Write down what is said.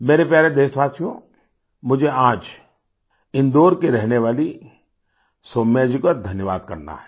मेरे प्यारे देशवासियो मुझे आज इंदौर की रहने वालीसौम्या जी का धन्यवाद करना है